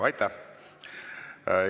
Aitäh!